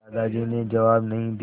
दादाजी ने जवाब नहीं दिया